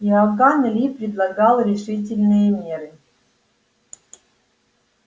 иоганн ли предлагал решительные меры